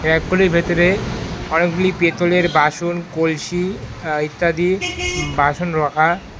এগুলির ভেতরে অনেকগুলি পেতলের বাসন কলসি আঃ ইত্যাদি বাসন রাখা।